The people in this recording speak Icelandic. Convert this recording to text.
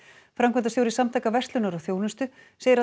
framkvæmdastjóri Samtaka verslunar og þjónustu segir að